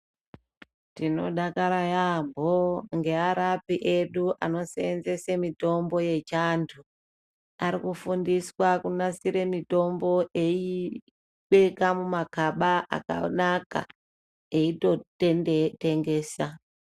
Tinodakara yaambo ngevarapi edu anoseenzese mitombo yechando. Ari kufundiswa kunasre mitombo eiyibeka mumakaba akanaka eyitotengesa.